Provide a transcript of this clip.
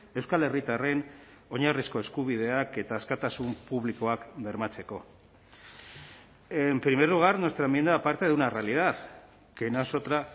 euskal herritarren oinarrizko eskubideak eta askatasun publikoak bermatzeko en primer lugar nuestra enmienda parte de una realidad que no es otra